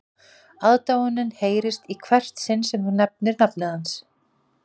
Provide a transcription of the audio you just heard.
Aðdáunin heyrist í hvert sinn sem þú nefnir nafnið hans